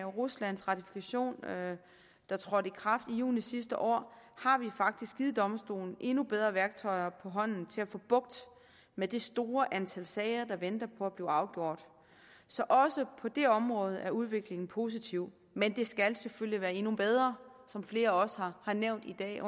ruslands ratifikation der trådte i kraft i juni sidste år har vi faktisk givet domstolen endnu bedre værktøjer på hånden til at få bugt med det store antal sager der venter på at blive afgjort så også på det område er udviklingen positiv men det skal selvfølgelig være endnu bedre som flere også har nævnt i dag